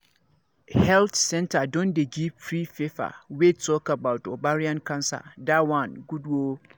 health centre don dey give free paper wey talk about ovarian cancer that one good ooo